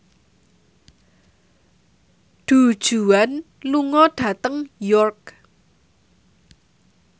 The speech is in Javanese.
Du Juan lunga dhateng York